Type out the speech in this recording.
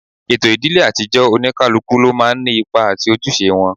Ètò ìdílé àtijọ́, Oníkálukú ló máa ń ní ipa àti ojúṣe wọn